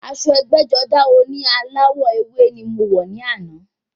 Aṣọ ẹgbẹ́-jọdá oní aláwọ̀ ewé ni mo wọ̀ ní àná.